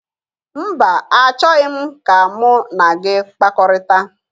Mba, achọghị m ka mụ na gị kpakọrịta